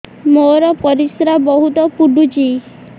ମୋର ପରିସ୍ରା ବହୁତ ପୁଡୁଚି